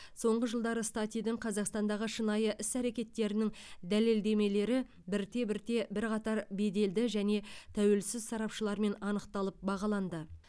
соңғы жылдары статидің қазақстандағы шынайы іс әрекеттерінің дәлелдемелері бірте бірте бірқатар беделді және тәуелсіз сарапшылармен анықталып бағаланды